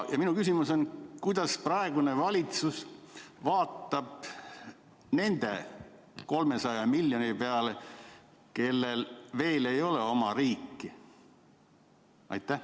Minu küsimus on: kuidas praegune valitsus vaatab nende 300 miljoni peale, kellel veel ei ole oma riiki?